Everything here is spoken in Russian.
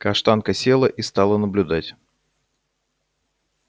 каштанка села и стала наблюдать